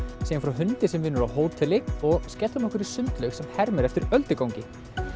segjum frá hundi sem vinnur á hóteli og skellum okkur sundlaug sem hermir eftir öldugangi